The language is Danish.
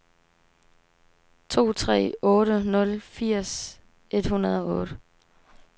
to tre otte nul firs et hundrede og otte